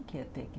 O que é técnico?